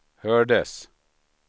hördes